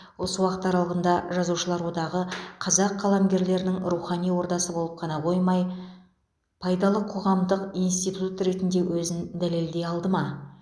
осы уақыт аралығында жазушылар одағы қазақ қаламгерлерінің рухани ордасы болып қана қоймай пайдалы қоғамдық институт ретінде өзін дәлелдей алды ма